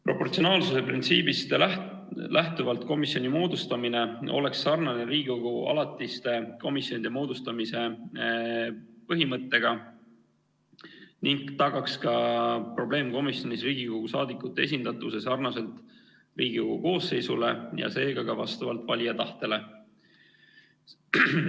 Proportsionaalsuse printsiibist lähtuvalt komisjoni moodustamine oleks sarnane Riigikogu alatiste komisjonide moodustamise põhimõttega ning tagaks ka probleemkomisjonis Riigikogu liikmete esindatuse sarnaselt Riigikogu koosseisuga, seega ka vastavalt valija tahtele.